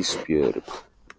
Ísbjörg.